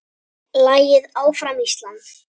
Lagið Áfram Ísland!